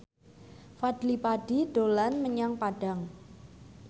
Fadly Padi dolan menyang Padang